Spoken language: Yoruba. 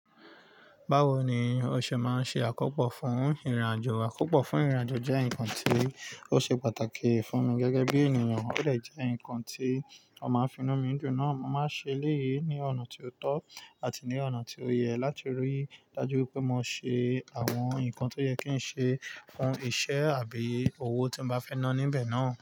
Báwo ni o ṣe máa ṣe àkópò fún ìrìnàjò? Àkópò fún ìrìnàjò jẹ́ ǹkan tí ó ṣe pàtàkì fún mi gẹ́gẹ́ bí ènìyàn, ó dè jẹ́ ǹkan tí ó máa fi inú mi dun náà. Mo máa ṣe eleyii ní ọ̀nà tí ó tọ́ àti ní ọ̀nà tí ó yẹ láti rí dájú wipé mo ṣe àwọn ǹkan tó yẹ kí n ṣe fún iṣẹ́ àbí owó tí n bá fẹ́ ná níbẹ̀ náà.